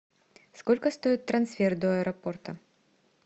сколько стоит трансфер до аэропорта